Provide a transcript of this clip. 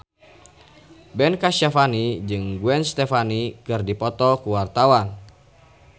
Ben Kasyafani jeung Gwen Stefani keur dipoto ku wartawan